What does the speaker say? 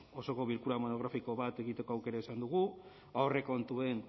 osoko bilkura monografiko bat egiteko aukera izan dugu aurrekontuen